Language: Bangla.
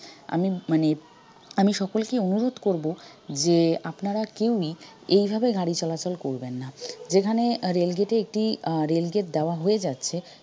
আমি মানে আমি সকলকে অনুরোধ করব যে আপনারা কেউই এভাবে গাড়ি চলাচল করবেন না যেখানে rail gate এ একটি আহ rail gate দেওয়া হয়ে যাচ্ছে